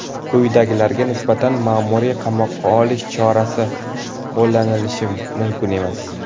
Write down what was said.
quyidagilarga nisbatan maʼmuriy qamoqqa olish chorasi qo‘llanilishi mumkin emas:.